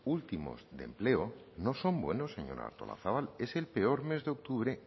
últimos de empleo no son buenos señora artolazabal es el peor mes de octubre